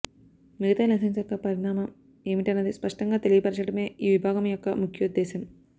మిగతా లైసెన్సు యొక్క పరిణామం ఏమిటన్నిది స్పష్టంగా తెలియ పరచడమే ఈ విభాగము యొక్క ముఖ్యోద్ధేశం